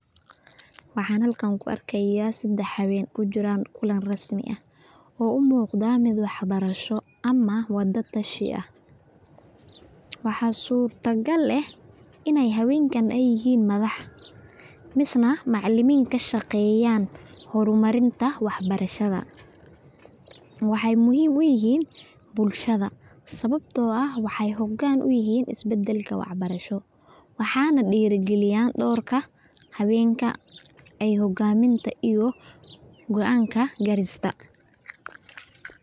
Waxan halka kuarkaya sadax haween o kujuran kulan rasmi ah o u muqdan mid waxbarasho ama wada tashi ah wax suurta gal eeh inay hawenkan ay yahin madax misa Macalimin kashaqeyan hormarinta waxbarshada waxa muhim uyahin bulshada sababto ah waxay hogan u yahain isbadalka waxbarsho. Waxan dheri galiyan dhowrka hawenka ay hogaminta iyo goan kagarista.